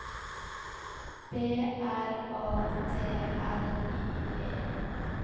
B R A T L I E